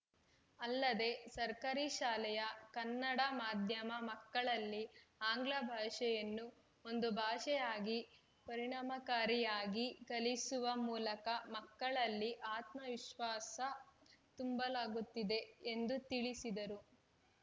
ಅಲ್ಲದೇ ಸರ್ಕಾರಿ ಶಾಲೆಯ ಕನ್ನಡ ಮಾಧ್ಯಮ ಮಕ್ಕಳಲ್ಲಿ ಆಂಗ್ಲ ಭಾಷೆಯನ್ನು ಒಂದು ಭಾಷೆಯಾಗಿ ಪರಿಣಾಮಕಾರಿಯಾಗಿ ಕಲಿಸುವ ಮೂಲಕ ಮಕ್ಕಳಲ್ಲಿ ಆತ್ಮವಿಶ್ವಾಸ ತುಂಬಲಾಗುತ್ತಿದೆ ಎಂದು ತಿಳಿಸಿದರು